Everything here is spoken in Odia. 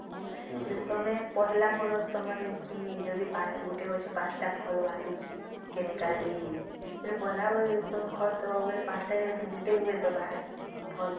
ତମେ ପହିଲା ବରଷ ତମର ଯଦି ଗୋଟେ ଗଛେ ୫ ତ ଫଳ ବାହାରୁଚି chemical ଦେଇକିରି ପହିଲା ବରଷ ଯଦି ଖତ ଦବ ବୋଇଲେ ୫ ତ ଜାଗାରେ ଗୋଟେ ହୁଏ ତ ବାହାରେ ଫଳ